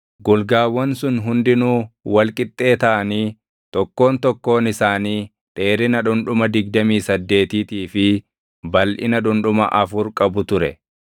Golgaawwan sun hundinuu wal qixxee taʼanii tokkoon tokkoon isaanii dheerina dhundhuma digdamii saddeetiitii fi balʼina dhundhuma afur qabu ture.